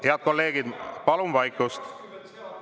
Head kolleegid, palun vaikust!